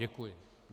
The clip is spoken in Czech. Děkuji.